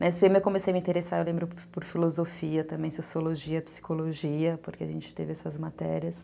Na esse pê eme eu comecei a me interessar, eu lembro, por filosofia também, sociologia, psicologia, porque a gente teve essas matérias.